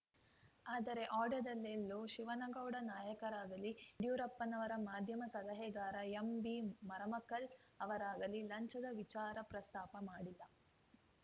ಆದರೆ ಆಡಿಯೋದಲ್ಲೆಲ್ಲೂ ಶಿವನಗೌಡ ನಾಯಕರಾಗಲಿ ಯಡಿಯೂರಪ್ಪನವರ ಮಾಧ್ಯಮ ಸಲಹೆಗಾರ ಎಂಬಿ ಮರಮಕಲ್‌ ಅವರಾಗಲಿ ಲಂಚದ ವಿಚಾರ ಪ್ರಸ್ತಾಪ ಮಾಡಿಲ್ಲ